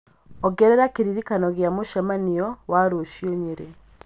ongerera kĩririkano gĩa mũcemanio wa rũciũ nyeri